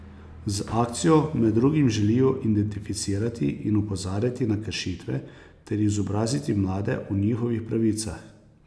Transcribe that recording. Z akcijo med drugim želijo identificirati in opozarjati na kršitve ter izobraziti mlade o njihovih pravicah.